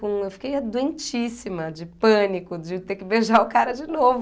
Eu fiquei é doentíssima de pânico de ter que beijar o cara de novo.